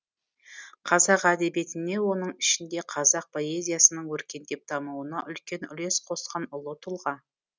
қазақ әдебиетіне оның ішінде қазақ поэзиясының өркендеп дамуына үлкен үлес қосқан ұлы тұлға